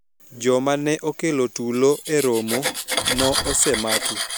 joma ne okelo tulo e romo no osemaki